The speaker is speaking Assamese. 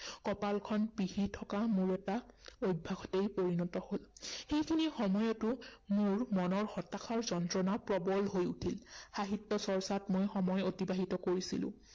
কপালখন পিহি থকা মোৰ এটা অভ্যাসতেই পৰিণত হল। এইখিনি সময়তো মোৰ মনৰ হতাশাৰ যন্ত্ৰণা প্ৰৱল হৈ উঠিল। সাহিত্য চৰ্চাত মই সময় অতিবাহিত কৰিছিলো।